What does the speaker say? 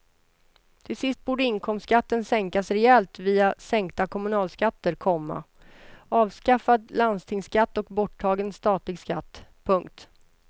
Till sist borde inkomstskatten sänkas rejält via sänkta kommunalskatter, komma avskaffad landstingsskatt och borttagen statlig skatt. punkt